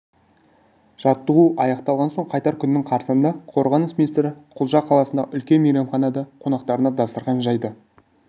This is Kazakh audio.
жаттығу аяқталған соң қайтар күннің қарсаңында қорғаныс министрі құлжа қаласындағы үлкен мейрамханада қонақтарына дастарқан жайды